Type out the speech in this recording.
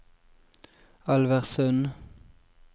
Alversund